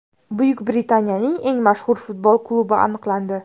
Buyuk Britaniyaning eng mashhur futbol klubi aniqlandi.